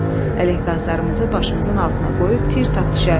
Ələq qazlarımızı başımızın altına qoyub tir tap düşərdik.